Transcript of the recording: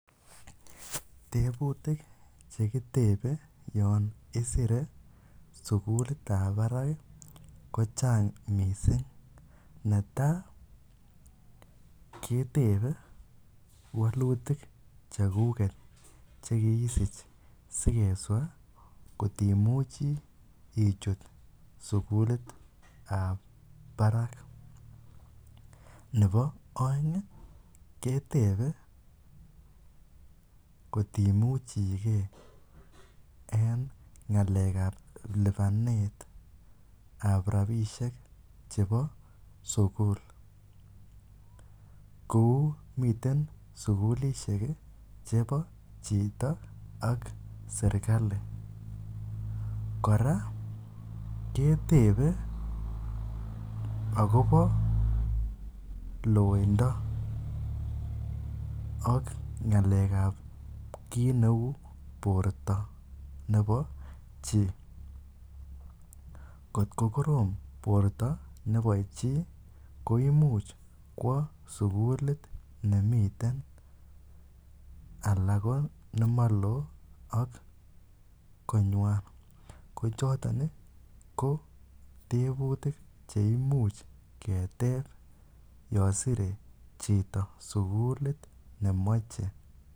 Tebutik chekitebe yoon isire sukulitab barak kochang mising, netaa ketebe wolutik chekuket chekiisich sikeswa kotimuchi ichut sukulitab barak nebo oeng ketebe kotimuchike en ngalekab libanetab rabishek chebo sukul, kouu miten sukulishek chebo chito ak serikali, kora ketebe akobo loindo ak ngalekab kiit neuu borto nebo chii, kot ko korom borto nebo chii ko imuch kwoo sukulit nemiten alaa ko nelemolo ak konywan, ko choton ko tebutik cheimuch keteb yoon sire chito sukulit nemoche.